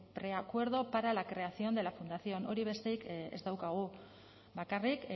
preacuerdo para la creación de la fundación hori besterik ez daukagu bakarrik